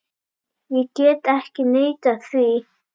Ég get ekki neitað því.